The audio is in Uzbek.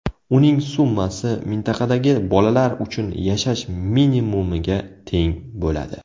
Uning summasi mintaqadagi bolalar uchun yashash minimumiga teng bo‘ladi.